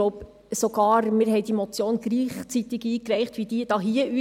Ich glaube sogar, wir haben die Motion gleichzeitig eingereicht wie diese hier.